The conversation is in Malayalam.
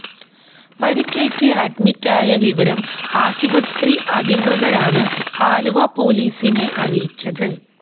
പരുക്കേറ്റ് അഡ്മിറ്റ് ആയ വിവരം ആശുപത്രി അധികൃതരാണ് ആലുവ പൊലീസിനെ അറിയിച്ചത്